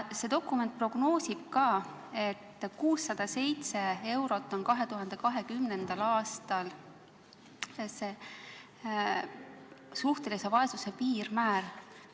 See dokument prognoosib ka seda, et 2020. aastal on suhtelise vaesuse piirmäär 607 eurot.